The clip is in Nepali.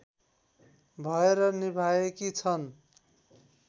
भएर निभाएकी छन्